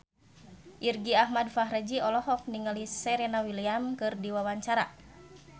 Irgi Ahmad Fahrezi olohok ningali Serena Williams keur diwawancara